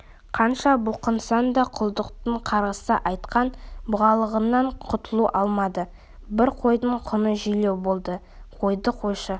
қанша бұлқынса да құлдықтың қарғыс атқан бұғалығынан құтыла алмады бір қойдың құны желеу болды қойды қойшы